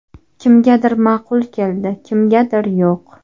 Kimgadir ma’qul keldi, kimgadir yo‘q.